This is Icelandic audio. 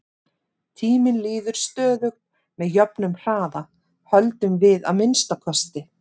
Tíminn líður stöðugt með jöfnum hraða, höldum við að minnsta kosti.